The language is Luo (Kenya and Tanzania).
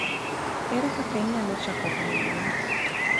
Ere kaka inyalo chako ohand gwen?